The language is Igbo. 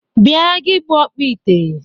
Bia gi bụ ọkpọ ite!